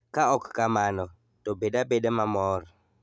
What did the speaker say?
Ka ok kamano, to bed abeda mamor.